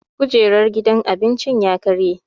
Kujerar gidan cin abincin ya karye